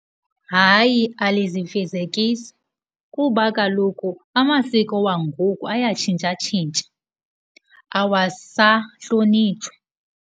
Hayi alizifezekisi kuba kaloku amasiko wangoku ayatshintshatshintsha, awasahlonitshwa.